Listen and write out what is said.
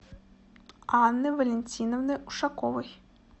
анны валентиновны ушаковой